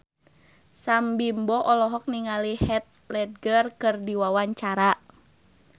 Sam Bimbo olohok ningali Heath Ledger keur diwawancara